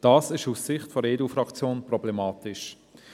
Dies ist aus Sicht der EDU-Fraktion problematisch.